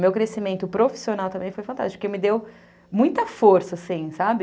Meu crescimento profissional também foi fantástico, porque me deu muita força, assim, sabe?